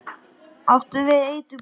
Áttu við eitur. brasið?